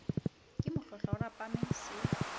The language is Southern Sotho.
ke mohlohlwa o rapame se